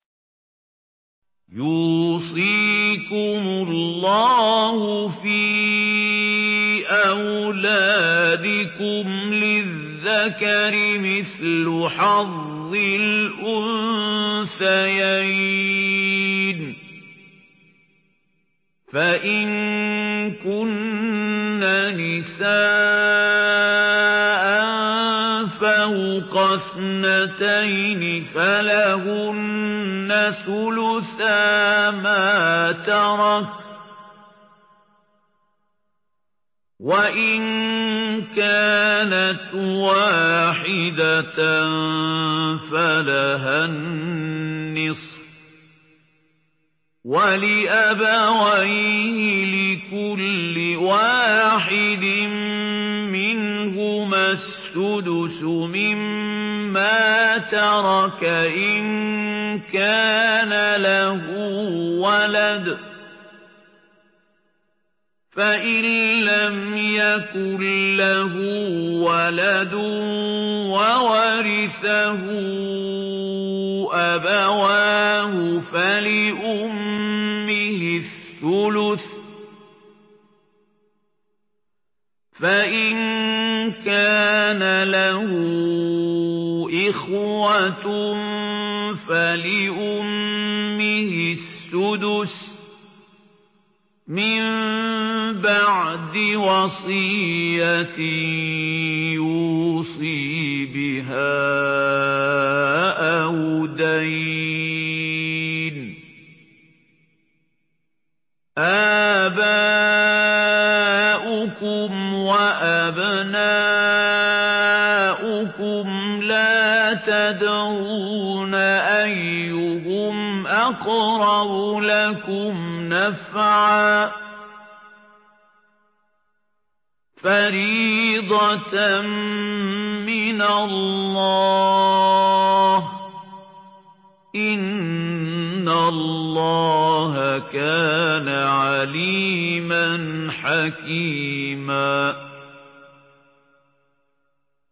يُوصِيكُمُ اللَّهُ فِي أَوْلَادِكُمْ ۖ لِلذَّكَرِ مِثْلُ حَظِّ الْأُنثَيَيْنِ ۚ فَإِن كُنَّ نِسَاءً فَوْقَ اثْنَتَيْنِ فَلَهُنَّ ثُلُثَا مَا تَرَكَ ۖ وَإِن كَانَتْ وَاحِدَةً فَلَهَا النِّصْفُ ۚ وَلِأَبَوَيْهِ لِكُلِّ وَاحِدٍ مِّنْهُمَا السُّدُسُ مِمَّا تَرَكَ إِن كَانَ لَهُ وَلَدٌ ۚ فَإِن لَّمْ يَكُن لَّهُ وَلَدٌ وَوَرِثَهُ أَبَوَاهُ فَلِأُمِّهِ الثُّلُثُ ۚ فَإِن كَانَ لَهُ إِخْوَةٌ فَلِأُمِّهِ السُّدُسُ ۚ مِن بَعْدِ وَصِيَّةٍ يُوصِي بِهَا أَوْ دَيْنٍ ۗ آبَاؤُكُمْ وَأَبْنَاؤُكُمْ لَا تَدْرُونَ أَيُّهُمْ أَقْرَبُ لَكُمْ نَفْعًا ۚ فَرِيضَةً مِّنَ اللَّهِ ۗ إِنَّ اللَّهَ كَانَ عَلِيمًا حَكِيمًا